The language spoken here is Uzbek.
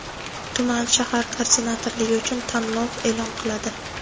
tuman(shahar) koordinatorligi uchun tanlov e’lon qiladi.